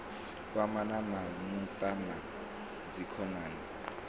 kwamana na muṱa na dzikhonani